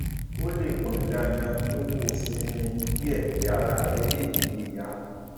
ó lè pọn dandan pé kó o sinmi sinmi díẹ kí ara rẹ lè tètè yá